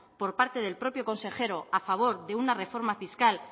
por parte del propio consejero a favor de una reforma fiscal